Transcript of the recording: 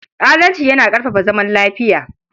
Adalci yana ƙarfafa zaman lafiya.